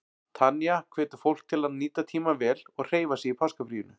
Tanya hvetur fólk til að nota tímann vel og hreyfa sig í páskafríinu.